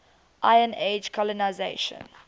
iron age colonisation